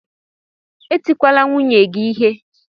Etikwala nwunye gị ihe!